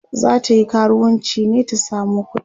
zatayi karuwanci ne ta samo kuɗi?